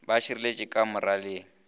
be a širetše ka moraleng